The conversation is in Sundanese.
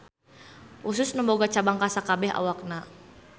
Usus nu boga cabang ka sakabeh awakna.